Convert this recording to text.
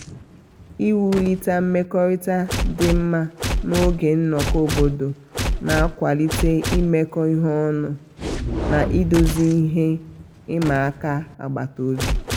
iwulite mmekọrịta dị mma n'oge nnọkọ obodo na-akwalite imekọ ihe ọnụ na-idozi ihe ịma aka agbata obi.